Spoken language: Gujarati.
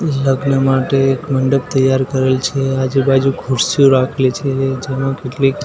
લગ્ન માટે એક મંડપ તૈયાર કરેલ છે આજુબાજુ ખુરશીઓ રાખેલી છે જેમાં કેટલીક--